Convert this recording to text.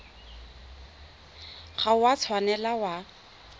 ga o a tshwanela wa